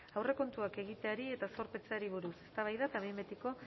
aurrekontuak egiteari eta zorpetzeari buruz eztabaida eta behin betiko